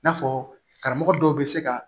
I n'a fɔ karamɔgɔ dɔw bɛ se ka